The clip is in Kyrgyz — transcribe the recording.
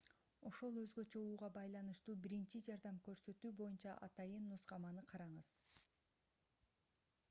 ошол өзгөчө ууга байланыштуу биринчи жардам көрсөтүү боюнча атайын нускаманы караңыз